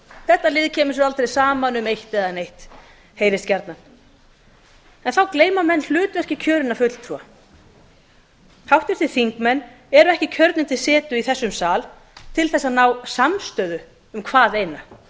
þetta lið kemur sér aldrei saman um eitt eða neitt heyrist gjarnan en þá gleyma menn hlutverki kjörinna fulltrúa háttvirtir þingmenn eru ekki kjörnir til setu í þessum sal til að ná samstöðu um hvaðeina þeir